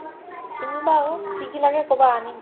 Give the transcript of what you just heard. কিনিবা আকৌ কি কি লাগে ক'বা আনিম ।